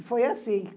E foi assim.